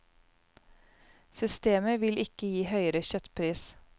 Systemet vil ikke gi høyere kjøttpris.